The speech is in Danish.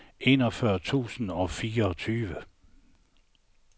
enogfyrre tusind og fireogtyve